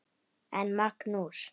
En Magnús